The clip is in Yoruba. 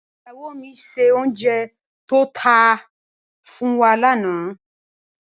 Ìyáwó mi se òùnjẹ tó ta fún wa lànà.